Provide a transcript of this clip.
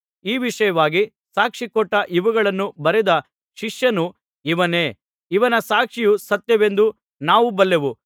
ಈ ವಿಷಯವಾಗಿ ಸಾಕ್ಷಿಕೊಟ್ಟು ಇವುಗಳನ್ನು ಬರೆದ ಶಿಷ್ಯನು ಇವನೇ ಇವನ ಸಾಕ್ಷಿಯು ಸತ್ಯವೆಂದು ನಾವು ಬಲ್ಲೆವು